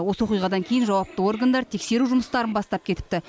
осы оқиғадан кейін жауапты органдар тексеру жұмыстарын бастап кетіпті